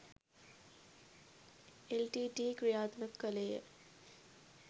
LTTE. ක්‍රියාත්මක කළේය.